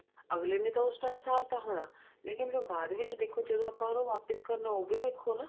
ਅਗਲੇ ਨੇ ਤਾਂ ਉਸ time ਸਾਰਤਾ ਹੋਣਾ ਲੇਕਿਨ ਜੋ ਬਾਅਦ ਵਿੱਚ ਦੇਖੋ ਜਦੋਂ ਆਪਾਂ ਉਹਦਾ ਵਾਪਿਸ ਕਰਨਾ ਉਹ ਵੀ ਦੇਖੋ ਨਾ